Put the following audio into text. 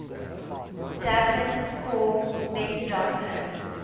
dublin core metadata